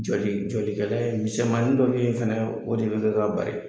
Jɔli jɔlikɛla in misɛnmanin dɔ bɛ ye fana o de bɛ kɛ ka